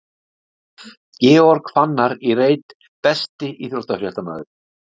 Georg Fannar í reit Besti íþróttafréttamaðurinn?